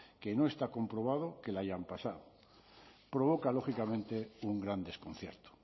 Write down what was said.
que no está comprobado que le hayan pasado provoca lógicamente un gran desconcierto